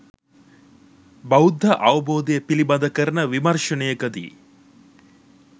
බෞද්ධ අවබෝධය පිළිබඳ කරන විමර්ශනයකදී